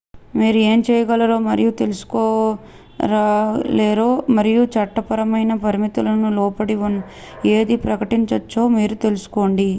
మీరు ఏం చేయగలరో మరియు తీసుకురాలేరో మరియు చట్టపరమైన పరిమితులకు లోబడి ఏది ప్రకటించచ్చో మీరు తెలుసుకోండి